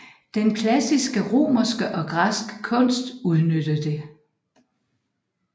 Den klassiske romerske og græske kunst udnytter det